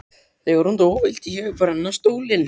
Þegar hún dó vildi ég brenna stólinn.